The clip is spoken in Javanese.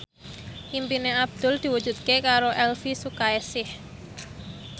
impine Abdul diwujudke karo Elvi Sukaesih